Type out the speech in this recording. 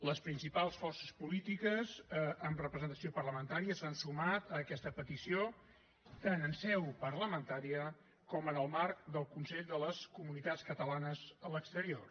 les principals forces polítiques amb representació parlamentària s’han sumat a aquesta petició tant en seu parlamentària com en el marc del consell de les comunitats catalanes de l’exterior